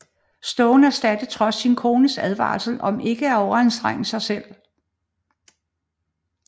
Stone eftersatte trods sin kones advarsel om ikke at overanstrenge sig selv